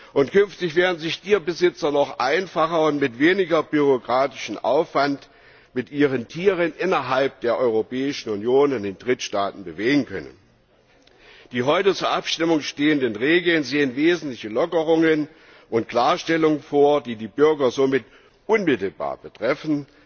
Und künftig werden sich Tierbesitzer noch einfacher und mit weniger bürokratischem Aufwand mit ihren Tieren innerhalb der Europäischen Union und in Drittstaaten bewegen können. Die heute zur Abstimmung stehenden Regeln enthalten wesentliche Lockerungen und Klarstellungen, die die Bürger somit unmittelbar betreffen.